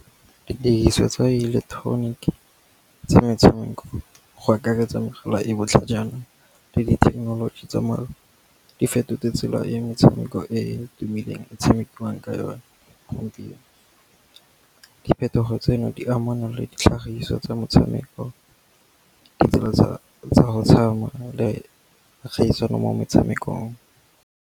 Didiriswa tsa ileketeroniki tsa metshameko, go akaretsa mogala e botlhajana le dithekenoloji tsa di fetotse tsela e metshameko e e tumileng e tshamekiwang ka yone gompieno. Diphetogo tseno di amana le ditlhagiso tsa metshameko, ditsela tsa go tshwana le kgaisano mo metshamekong.